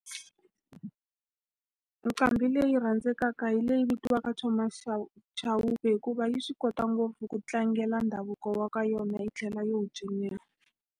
Nqambi leyi rhandzekaka hi leyi vitiwaka Thomas Chauke hikuva yi swi kota ngopfu ku tlangela ndhavuko wa ka yona, yi tlhela yi wu cinela.